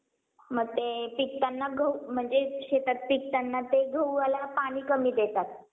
पूर वीज आग यासारख्या नैसर्गिक आपत्ती बरोबरच मानव निर्मिती आणि आपत्ती दंगल महामारी चोरी हल्ला या सर्व आपत्तीनंतर झालेल्या नुकसानाच्या विम्याची रक्कम दिली जाते